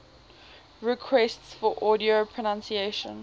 requests for audio pronunciation